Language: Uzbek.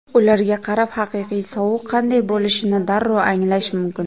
Ularga qarab, haqiqiy sovuq qanday bo‘lishini darrov anglash mumkin.